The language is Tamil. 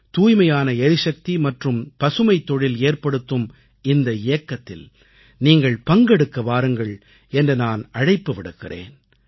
தூய்மையான எரிசக்தி மற்றும் பசுமைத் தொழில் ஏற்படுத்தும் இந்த இயக்கத்தில் நீங்கள் பங்கெடுக்க வாருங்கள் என்று நான் அழைப்பு விடுக்கிறேன்